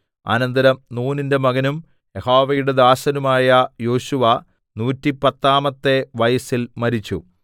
അനന്തരം നൂനിന്റെ മകനും യഹോവയുടെ ദാസനുമായ യോശുവ നൂറ്റിപ്പത്താമത്തെ വയസ്സിൽ മരിച്ചു